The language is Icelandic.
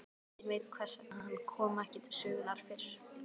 Enginn veit hvers vegna hann kom ekki til sögunnar fyrr.